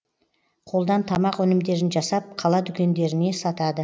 қолдан тамақ өнімдерін жасап қала дүкендеріне сатады